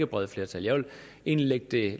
brede flertal jeg vil egentlig lægge det